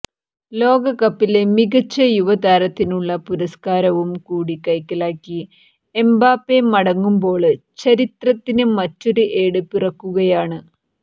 ലോകകപ്പിലെ മികച്ച യുവ താരത്തിനുള്ള പുരസ്കാരവും കൂടി കൈക്കലാക്കി എംബാപ്പെ മടങ്ങുമ്പോള് ചരിത്രത്തിന് മറ്റൊരു ഏട് പിറക്കുകയാണ്